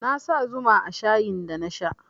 Na sa zuma a shayin da na sha